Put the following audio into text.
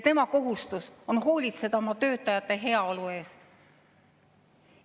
Tema kohus on hoolitseda oma töötajate heaolu eest.